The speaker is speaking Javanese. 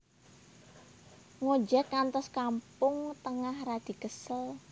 Ngojek ngantos Kampung Tengah radi kesel